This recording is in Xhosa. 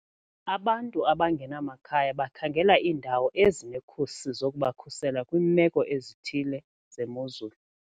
Abantu abangenamakhaya bakhangela iindawo ezinekhusi zokubakhusela kwiimeko ezithile zemozulu.